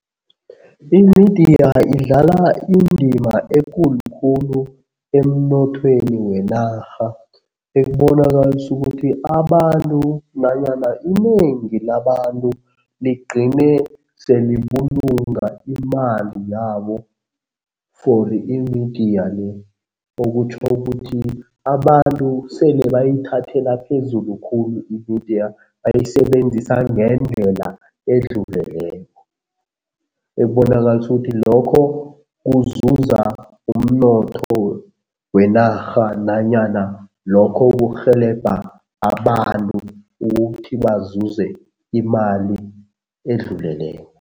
Imidiya idlala indima ekulu khulu emnothweni wenarha ekubonakalisa ukuthi abantu nanyana inengi labantu ligcine selibulunga imali yabo fori imidiya le. Okutjho ukuthi abantu sele bayithathela phezulu khulu imidiya bayisebenzisa ngendlela edluleleko, ekubonakalisa ukuthi lokho kuzuza umnotho wenarha nanyana lokho kurhelebha abantu ukuthi bazuze imali edluleleko.